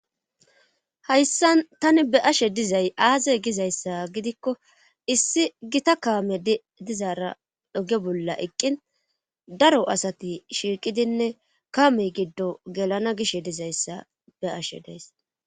hayssan tani be'ashe dizay aaze gizayssa gidikko issi gita kaame dizaara doge bolla eqqin daro asati shiiqidinne kaamey giddo gelana gishe dizayssa be'ashe de'aysi